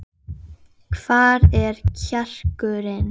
Jæja, takk fyrir þetta- sagði Valdimar.